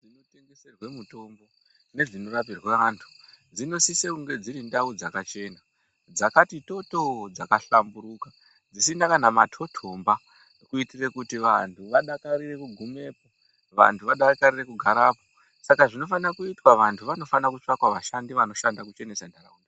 Tengeserwe mutombo nedzinorapirwe vantu dzinosise kunge dsiri ndau dzakachena dzakati totooo dzakahlamburuka dzisina kqna matotomba kuitira kuti vanhu vadakarire kugumepo vantu vadakarire kugarapo saka zvinofanirwa kuitwa vantu vanofanira kutsvaka futi vashandi vanoshanda kuchenesa ntaraunda.